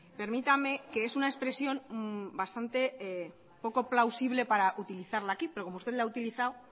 permítame que es una expresión bastante poco plausible para utilizarla aquí pero como usted la ha utilizado